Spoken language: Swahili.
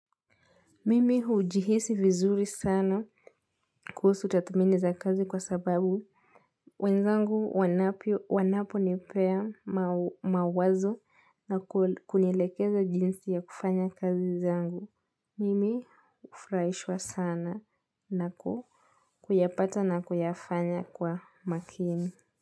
Mimi hujihisi vizuri sana kuhusu tathmini za kazi kwa sababu. Wenzangu wanaponipea mawazo na kunielekeza jinsi ya kufanya kazi zangu. Mimi hufurahishwa sana na kuyapata na kuyafanya kwa makini.